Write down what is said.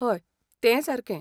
हय, तें सारकें.